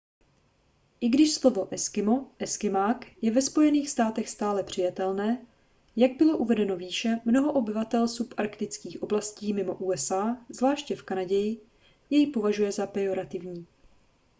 i když slovo eskimo eskymák je ve spojených státech stále přijatelné jak bylo uvedeno výše mnoho obyvatel subarktických oblastí mimo usa zvláště v kanadě jej považuje za pejorativní